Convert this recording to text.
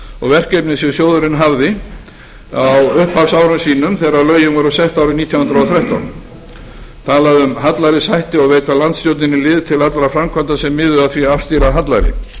og verkefni sem sjóðurinn hafði á upphafsárum sínum þegar lögin voru sett árið nítján hundruð og þrettán talað um hallærishættu og að veita landsstjórninni lið til allra framkvæmda sem miðuðu að því að afstýra hallæri